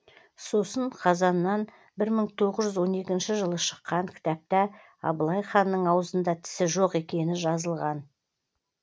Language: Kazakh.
сосын қазаннан бір мың тоғыз жүз он екінші жылы шыққан кітапта абылай ханның аузында тісі жоқ екені жазылған